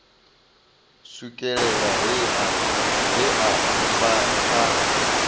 swikelela he a vha a